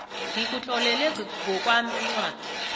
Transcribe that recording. ngikutlolela ngokwami incwadi